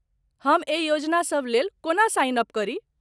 हम एहि योजना सबलेल कोना साइन अप करी?